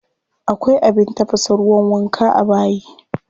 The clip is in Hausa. Akwai abin tafasa ruwan wanka a bayi.